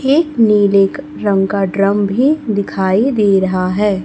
एक नीले रंग का ड्रम भी दिखाई दे रहा है।